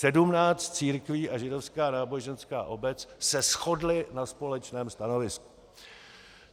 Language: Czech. Sedmnáct církví a židovská náboženská obec se shodly na společném stanovisku.